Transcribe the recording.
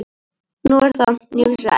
Nú er það, ég vissi það ekki.